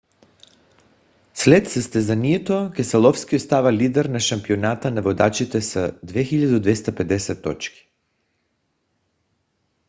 след състезанието кеселовски остава лидер на шампионата на водачите с 2250 точки